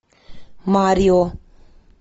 марио